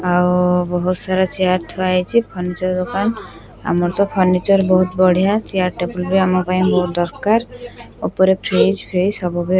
ଆଉ ବହୁତ୍ ସାରା ଚେୟାର ଥୁଆ ହେଇଛି ଫନିଚର ଦୋକାନ ଆମର ତ ଫନିଚର ବହୁତ୍ ବଢିଆ ଚେୟାର ଟେବୁଲ ଆମ ପାଇଁ ବହୁତ ଦରକାର ଉପରେ ଫ୍ରିଜ ଫ୍ରିଜ ସବୁ --